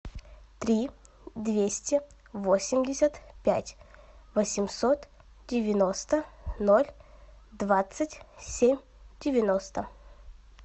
три двести восемьдесят пять восемьсот девяносто ноль двадцать семь девяносто